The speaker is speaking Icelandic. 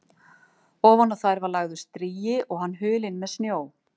Ofan á þær var lagður strigi og hann hulinn með snjó.